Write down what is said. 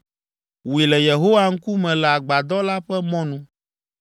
Wui le Yehowa ŋkume le agbadɔ la ƒe mɔnu.